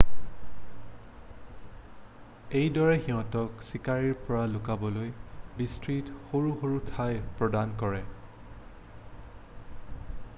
এইটোৱে সিহঁতক চিকাৰীৰ পৰা লুকাবলৈ বিস্তৃত সৰু সৰু ঠাই প্ৰদান কৰে